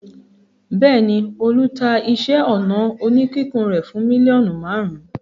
Bẹ́ẹ̀ ni, Olú ta iṣẹ́-ọnà oníkíkùn rẹ̀ fún mílíọ̀nù márùn-ún.